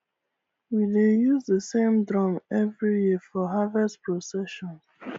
we dey use the same drum every year for harvest procession